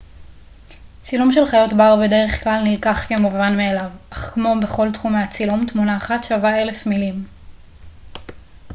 צילום של חיות בר בדרך-כלל נלקח כמובן מאליו אך כמו בכל תחומי הצילום תמונה אחת שווה אלף מילים